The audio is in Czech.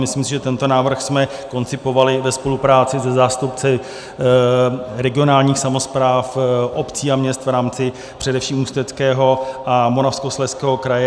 Myslím si, že tento návrh jsme koncipovali ve spolupráci se zástupci regionálních samospráv, obcí a měst, v rámci především Ústeckého a Moravskoslezského kraje.